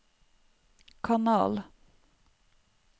kanal